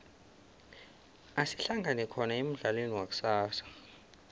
asihlangane khona emudlalweni wakusasa